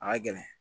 A ka gɛlɛn